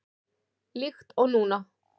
Líkt og núna.